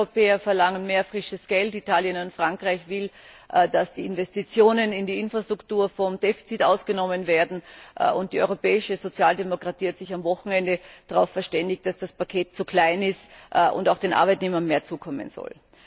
Die Südeuropäer verlangen mehr frisches Geld, Italien und Frankreich wollen, dass die Investitionen in die Infrastruktur vom Defizit ausgenommen werden, und die europäische Sozialdemokratie hat sich am Wochenende darauf verständigt, dass das Paket zu klein ist und auch den Arbeitnehmern mehr zugutekommen soll.